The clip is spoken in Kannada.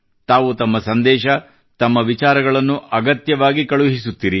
ತಾವು ತಮ್ಮ ಸಂದೇಶ ತಮ್ಮ ವಿಚಾರಗಳನ್ನು ಅಗತ್ಯವಾಗಿ ಕಳುಹಿಸುತ್ತಿರಿ